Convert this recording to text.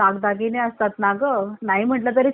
नाही म्हणलं तरी छोटा गंठण म्हणा